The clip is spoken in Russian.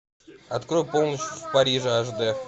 открой полночь в париже аш д